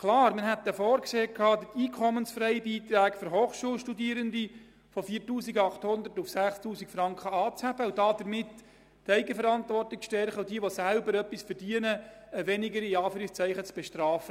Klar, wir hatten vorgesehen, den Hochschulfreibetrag für Studierende von 4800 Franken auf 6000 Franken anzuheben, um damit die Eigenverantwortung zu stärken, und diejenigen, die selber etwas verdienen, weniger zu «betrafen».